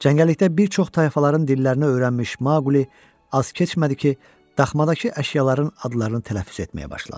Cəngəllikdə bir çox tayfaların dillərinə öyrənmiş Maquli az keçmədi ki, daxmadakı əşyaların adlarını tələffüz etməyə başladı.